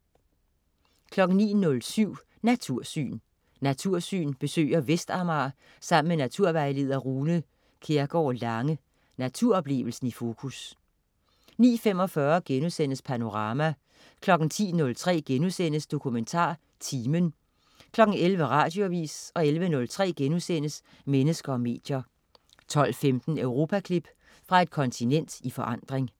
09.07 Natursyn. "Natursyn" besøger Vestamager sammen med naturvejleder Rune Kjærgård Lange. Naturoplevelsen i fokus 09.45 Panorama* 10.03 DokumentarTimen* 11.00 Radioavis 11.03 Mennesker og medier* 12.15 Europaklip. Fra et kontinent i forandring